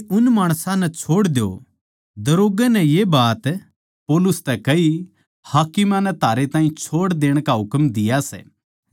दरोग्गै नै ये बात पौलुस तै कही हाकिमां नै थारे ताहीं छोड़ देण का हुकम दिया सै ज्यांतै इब खुश होकै जाओ